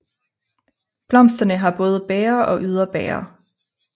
Blomsterne har både bæger og yderbæger